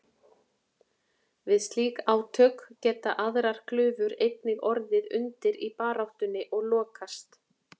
Við slík átök geta aðrar glufur einnig orðið undir í baráttunni og lokast.